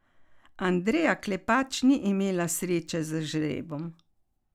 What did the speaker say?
Andreja Klepač ni imela sreče z žrebom.